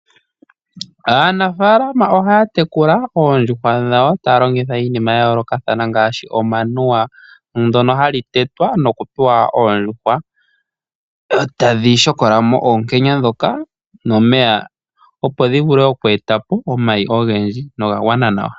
Aanafalama ohaya tekula oondjuhwa dhawo taya longitha iinima ya yoolokathana ngaashi omanuwa. Ndono hali tetwa nokupewa oondjuhwa dho tadhi shokola mo oonkenya dhoka nomeya, opo dhi vule oku eta po omayi ogendji noga gwana nawa.